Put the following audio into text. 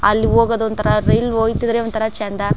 ಅಲ್ಲಿಗೆ ಹೋಗೋದು ಒಂತರ ರೈಲು ಹೋಯ್ ತು ಅಂದ್ರೆ ಒಂತರ ಚಂದ.